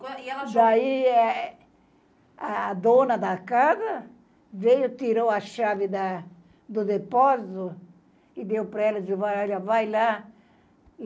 E ela. Daí eh, eh, a dona da casa veio, tirou a chave da do depósito e deu para ela e disse, vai lá.